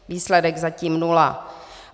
Výsledek zatím nula.